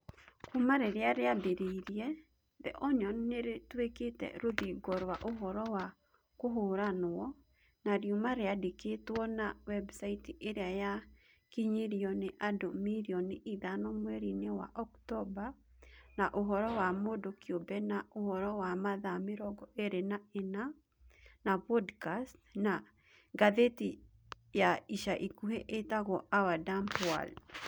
Kuuma rĩrĩa rĩambĩrĩirie, The Onion nĩ rĩtuĩkĩte rũthingo rwa ũhoro wa kũhũranwo, na riuma rĩandĩkĩtwo, na webusaiti ĩrĩa yakinyĩirio nĩ andũ mirioni ithano mweri-inĩ wa Oktomba, na ũhoro wa mũndũ kĩũmbe, na ũhoro wa mathaa mĩrongo ĩĩrĩ na ĩna , na podcast, na ngathĩti ya ica ikuhĩ ĩtagwo Our Dumb World.